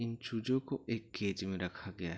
इन चूजों को एक केज में रखा गया है।